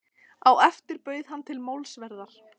Á eftir bauð hann til málsverðar.